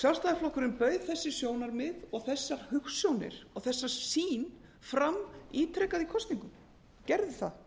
sjálfstæðisflokkurinn bauð þessi sjónarmið og þessar hugsjónir og þessa sýn fram ítrekað í kosningum hann gerði það